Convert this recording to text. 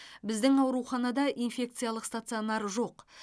біздің ауруханада инфекциялық стационар жоқ